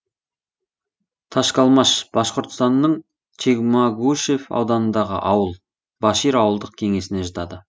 ташкалмаш башқұртстанның чекмагушев ауданындағы ауыл башир ауылдық кеңесіне жатады